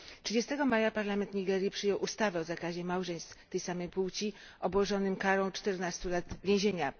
Dnia 30 maja Parlament Nigerii przyjął ustawę o zakazie małżeństw tej samej płci, obłożonym karą 14 lat więzienia.